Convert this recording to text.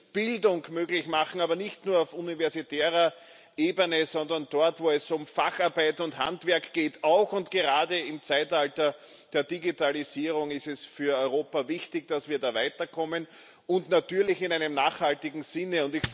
Wir müssen Bildung möglich machen, aber nicht nur auf universitärer Ebene, sondern auch dort, wo es um Facharbeit und Handwerk geht. Auch und gerade im Zeitalter der Digitalisierung ist es für Europa wichtig, dass wir da weiterkommen, und natürlich in einem nachhaltigen Sinne.